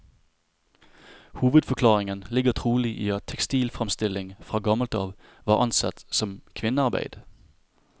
Hovedforklaringen ligger trolig i at tekstilframstilling fra gammelt av var ansett som kvinnearbeid.